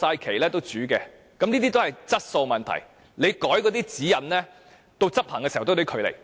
這些涉及質素問題，即使你修改指引，到執行時也有距離。